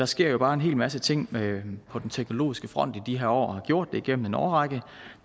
sker jo bare en hel masse ting på den teknologiske front i de her år og har gjort det igennem en årrække